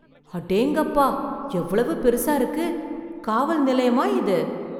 அடேங்கப்பா எவ்வளவு பெருசா இருக்கு. காவல் நிலையமா இது?